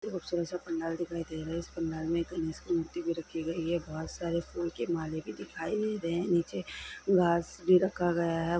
एक पंडाल दिखाई दे रहा हैंइस पंडाल में कई सारे मूर्ति भी रखी गई हैं बहोत सारे फूल के माले भी दिखाई गई है नीचे घास भी रखा गया हैं।